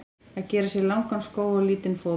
Að gera sér langan skó á lítinn fót